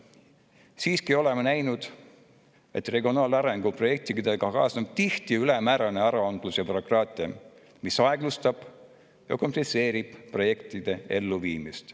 Siiski oleme näinud, et regionaalarengu projektidega kaasnevad tihti ülemäärane aruandlus ja bürokraatia, mis aeglustab ja komplitseerib nende elluviimist.